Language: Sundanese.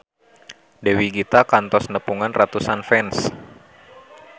Dewi Gita kantos nepungan ratusan fans